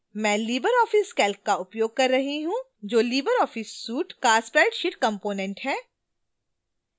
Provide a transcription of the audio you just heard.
मैं libreoffice calc का उपयोग कर रही हूं जो libreoffice suite का spreadsheet component है